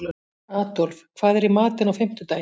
Adolf, hvað er í matinn á fimmtudaginn?